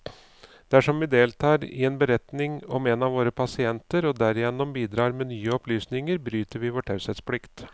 Dersom vi deltar i en beretning om en av våre pasienter, og derigjennom bidrar med nye opplysninger, bryter vi vår taushetsplikt.